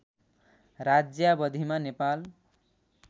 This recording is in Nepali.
राज्यावधिमा नेपाल